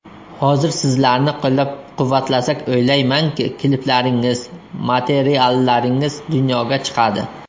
Hozir sizlarni qo‘llab-quvvatlasak, o‘ylaymanki, kliplaringiz, materiallaringiz dunyoga chiqadi.